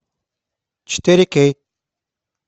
четыре кей